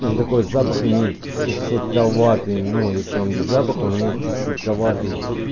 и он такой запах имеет чуть сладковатый ну если он без запаха он имеет чуть сладковатый